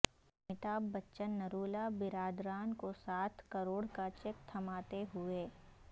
امیتابھ بچن نرولا برادران کو سات کروڑ کا چیک تھماتے ہوئے